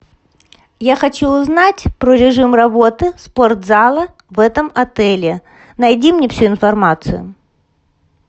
я хочу узнать про режим работы спортзала в этом отеле найди мне всю информацию